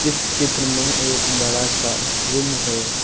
इस चित्र में एक बड़ा सा रूम है।